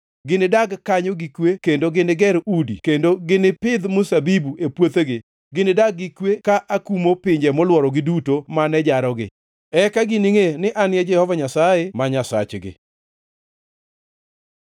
Ginidag kanyo gi kwe kendo giniger udi kendo ginipidh mzabibu e puothegi; ginidag gi kwe ka akumo pinje molworogi duto mane jarogi. Eka giningʼe ni An e Jehova Nyasaye ma Nyasachgi.’ ”